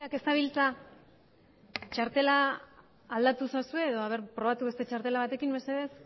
ez dabiltza txartela aldatu ezazue edo probatu beste txartela batekin mesedez